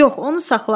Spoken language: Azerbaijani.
Yox, onu saxla.